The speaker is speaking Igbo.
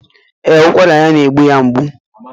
Ee, ụkwara ya na-egbu ya mgbu.